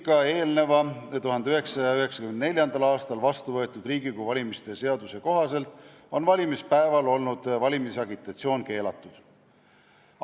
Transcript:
Ka eelmise, 1994. aastal vastu võetud Riigikogu valimise seaduse kohaselt oli valimisagitatsioon valimispäeval keelatud.